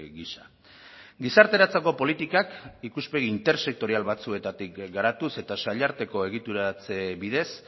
gisa gizarteratzeko politikak ikuspegi intersektorial batzuetatik garatuz eta sail arteko egituratze bidez